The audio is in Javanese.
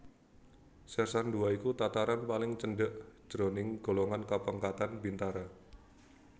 Sèrsan Dua iku tataran paling cendhèk jroning golongan kapangkatan bintara